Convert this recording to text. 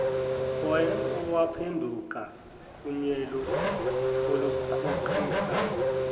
owaphenduka unyele oluqhuqhisayo